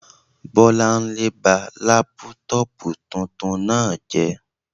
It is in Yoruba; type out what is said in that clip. Bọ́lánlé ba lápútọ̀pù tuntun náà jẹ́